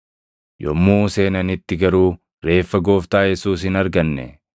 yommuu seenanitti garuu reeffa Gooftaa Yesuus hin arganne.